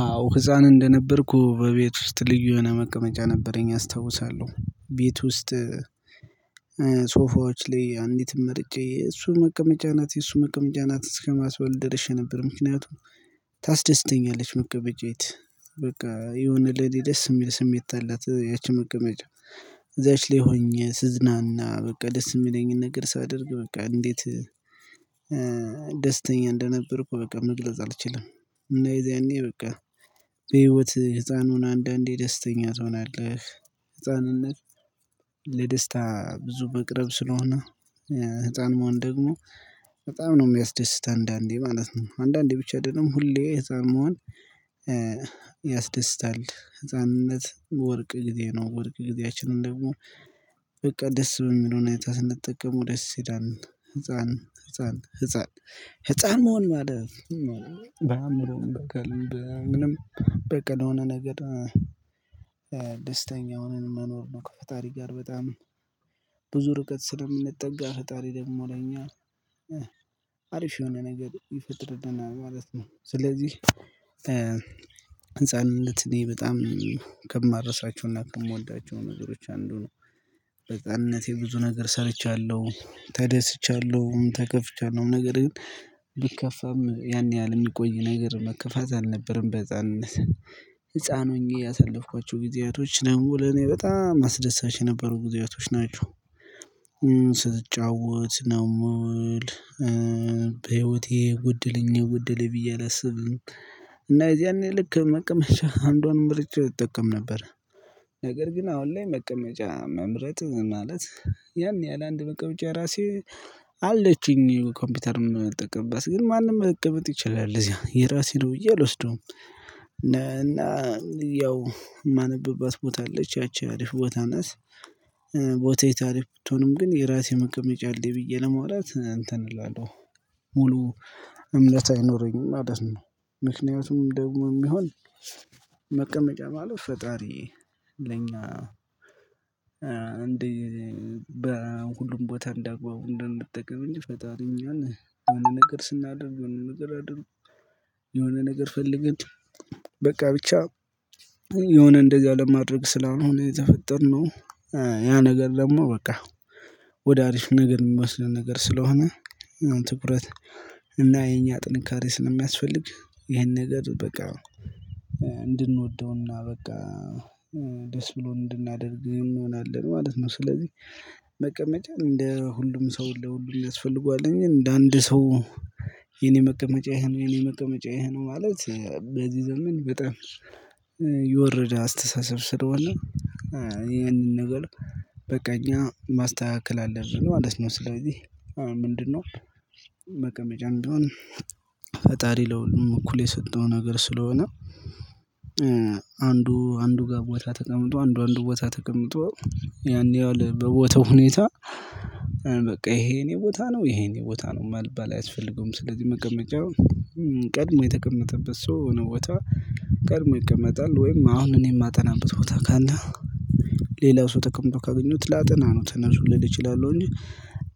አዎ ህፃን እንደነበርኩ በቤት ውስጥ ልዩነት መቀመጫ ነበረኝ አስታውሳለሁ ቤት ውስጥ ሶፋዎች ላይ አንዲት መርጬ እሱ መቀመጫ ናት የእሱ መቀመጫ ናት እስከማስበል ድርሻ ደርሼ ነበር። ምክንያቱም ታስደስተኛለች መቀበጃይት በቃ የሆነ ለእኔ የምል ስሜት አላት ያቺ መቀመጫ እዛች ላይ ሆኜ ስዝናና በቃ ደስ የሚለኝን ነገር ሳደርግ በቃ እንዴት ደስተኛ እንደነበርኩ በቃ መግለጽ አልችልም። እና የዚያኔ በቃ በህይወት ህፃን ሆነህ አንዳንዴ ደስተኛ ትሆናለህ ህፃንነት ለደስታ ብዙ መቅረብ ስለሆነ ህፃን መሆን ደግሞ በጣም ነው የሚያስደስት አንዳንዴ ማለት ነው። አንዳንዴ ብቻ ደግሞ ሁሌ ህፃን መሆን ያስደስታል ህፃንነት ወርቅ ጊዜ ነው። ወርቅ ጊዜያችንን ደግሞ በቃ ደስ በሚለው ሁኔታ ስንጠቀመው ደስ ይላል ህፃን ህፃን ህፃን ህፃን መሆን ማለት ነው። በአእምሮ ምንም በቃ ለሆነ ነገር ደስተኛ ሆነን መኖር ነው። ከፈጣሪ ጋር በጣም ብዙ ርቀት ስለምንጠጋ ፈጣሪ ደግሞ ለኛ አሪፍ የሆነ ነገር ይፈጥርልና ማለት ነው። ስለዚህ ህንፃንነት እኔ በጣም ከምረሳችውና ከምወዳቸው ነገሮች አንዱ ነው። በህፃንነቴ ብዙ ነገር ሰርቻለሁ ተደስቻለሁ ተከፍቻለሁ ነገር ግን ቢከፋም ያን ያህል የሚቆይ ነገር መከፋት አልነበረም። በህፃንነት ህፃን ሆኜ ያሳለፍኳቸው ጊዜያቶች ነው ለኔ በጣም አስደሳች የነበሩ ጊዜያቶች ናቸው። ስትጫወት ነው ምውል በህይወቴ የጎደለኝ ጎደለኝ ብዬ አላስብም። እና የዚያን ልክ መቀመጫ አንዷን ምርጫ እጠቀም ነበር። ነገር ግን አሁን ላይ መቀመጫ መምረጥ ማለት ያን ያህል አንድ መቀመጫ ራሴ አለችኝ ኮምፒውተርን ምጠቀምበት ግን ማንም መቀመጥ ይችላል እዚህ የራሴ ነው ብዬ አልወስደውም። እና ያው የማነብባት ቦታ አለች ያቺ አሪፍ ቦታ ነት። ቦታ አሪፍ ብትሆንም ግን የራሴ መቀመጫ አለኝ ብዬ ለማውራት እንትን እላለሁ። ሙሉ እምነት አይኖረኝም ማለት ነው። ምክንያቱም ደግሞ የሚሆን መቀመጫ ማለት ፈጣሪ ለኛ እንዴ በሁሉም ቦታ እንዳግባው እንደንጠቀም እንጂ ፈጣሪ እኛን የሆነ ነገር ስናደርግ የሆነ ነገር አድርጉ የሆነ ነገር ፈልገን በቃ ብቻ የሆነ እንደዚህ አለማድረግ ስላለሆነ የተፈጠርነው ያ ነገር ደግሞ በቃ ወደ አሪፍ ነገር የሚመስለን ነገር ስለሆነ ትኩረት እና የኛ ጥንካሬ ስለሚያስፈልግ ይሄን ነገር በቃ እንድንወደውና በቃ ደስ ብሎን እንድናደርግ እንሆናለን ማለት ነው። ስለዚህ መቀመጫ እንደ ሁሉም ሰው ለሁሉም ያስፈልገዋል እንጂ እንደ አንድ ሰው የኔ መቀመጫዬ ይሄ ነው የኔ መቀመጫዬ ይሄ ነው ማለት በዚህ ዘመን በጣም የወረደ አስተሳሰብ ስለሆነ ይሄንን ነገር በቃ እኛ ማስተካከል አለብን ማለት ነው። ስለዚህ ምንድነው? መቀመጫም ቢሆን ፈጣር ለሁሉም እኩሌ የሰጠው ነገር ስለሆነ አንዱ አንዱ ጋር ቦታ ተቀምጦ አንዱ አንዱ ቦታ ተቀምጦ ያን ያህል በቦታው ሁኔታ በቃ ይሄ የኔ ቦታ ነው ይሄ የእኔ ነው መባል አያስፈልገውም ስለዚህ መቀመጫው ቀድሞ የተቀመጠበት ሰው የሆነ ቦታ ቀድሞ ይቀመጣል ወይም አሁን እኔ የማጠናበት ቦታ ካለ ሌላው ሰው ተቀምቶ ካገኙት ላጠና ነው። ተነሱ ልል እችላለሁ እንጂ